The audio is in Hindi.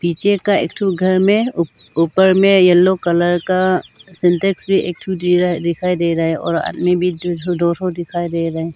पीछे का एक ठो घर में ऊ ऊपर में येलो कलर का सिंटेक्स भी एक ठो दे रहा दिखाई दे रहा है और आदमी भी एक ठो दो ठो दिखाई दे रहा है।